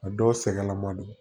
A dɔw sɛgɛn lamadon